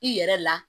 I yɛrɛ la